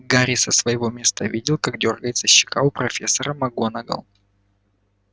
гарри со своего места видел как дёргается щека у профессора макгонагалл